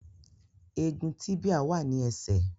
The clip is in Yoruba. Egun tíbíà wà ní ẹsẹ̀